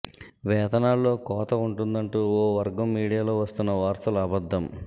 వేతనాల్లో కోత ఉంటుందంటూ ఒక వర్గం మీడియాలో వస్తున్న వార్తలు అబద్ధం